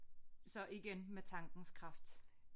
Så igen med tankens kraft